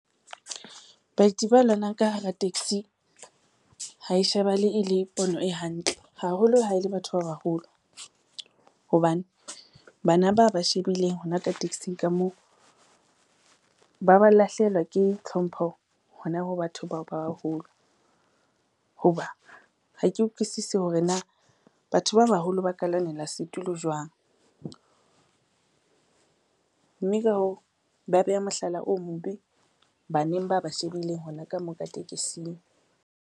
Baeti ba lwanang ka hara taxi, hae shebahale e le pono e hantle haholo ha e le batho ba baholo, hobane bana ba ba shebileng hona ka taxi-ng ka moo, ba ba lahlehela ke tlhompho hona ho batho bao ba baholo. Ho ba ha ke utlwisisi hore na batho ba baholo ba ka lwanela setulo jwang, mme ka hoo, ba beha mohlala o mobe baneng ba ba shebileng hona ka moo ka tekesing.